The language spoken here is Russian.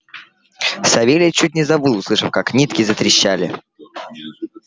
савельич чуть не завыл услышав как нитки затрещали